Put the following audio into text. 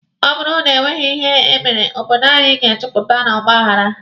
Ọ bụrụ na e nweghị ihe e mere, obodo anyi ga-ejupụta na ọgba aghara.